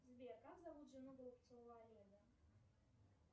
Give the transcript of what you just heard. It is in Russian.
сбер как зовут жену голубцова олега